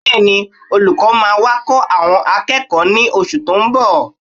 Bẹ́ẹ̀ni, olùkọ́ máa wá kọ́ àwọn akẹ́kọ̀ọ́ ní oṣù tó ń bọ̀